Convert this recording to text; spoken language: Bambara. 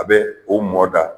A bɛ o mɔ da